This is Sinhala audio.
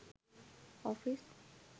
office